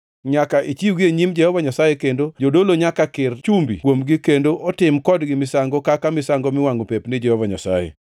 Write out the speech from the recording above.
Nyaka ichiwgi e nyim Jehova Nyasaye, kendo jodolo nyaka kir chumbi kuomgi kendo otim kodgi misango kaka misango miwangʼo pep ni Jehova Nyasaye.